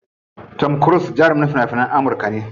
Tom cruse jarumin fina finan Amurka ne.